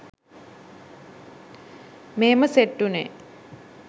මෙහෙම සෙට් වුනේ